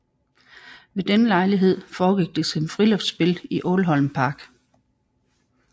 Ved denne lejlighed foregik det som friluftsspil i Ålholm park